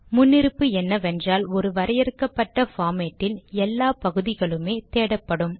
முன்னிருப்பு என்னவென்றால் ஒரு வரையறுக்கப்பட்ட பார்மேட்டில் எல்லா பகுதிகளுமே தேடப்படும்